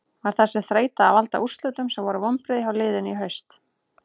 Var þessi þreyta að valda úrslitum sem voru vonbrigði hjá liðinu í haust?